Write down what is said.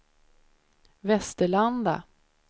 Västerlanda